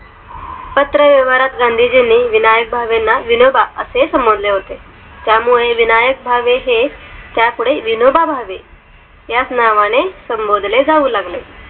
पात्र व्यवहारात गांधीजींनी विनायक भावना विनोबा असे समजले होते त्यामुळे विनायक भावे हे विनोभावे ह्याच नावाने संबोधले जाऊ लागले